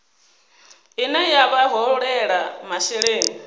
ine ya vha holela masheleni